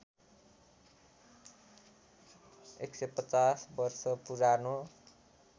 १५० वर्ष पुरानो